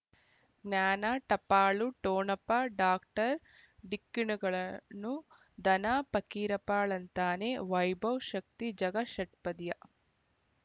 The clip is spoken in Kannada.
ಜ್ಞಾನ ಟಪಾಲು ಟೋಣಪ ಡಾಕ್ಟರ್ ಢಿಕ್ಕಿ ಣಗಳನು ಧನ ಫಕೀರಪ್ಪ ಳಂತಾನೆ ವೈಭವ್ ಶಕ್ತಿ ಝಗಾ ಷಟ್ಪದಿಯ